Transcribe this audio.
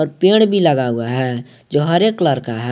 पेड़ भी लगा हुआ है जो हरे कलर का है।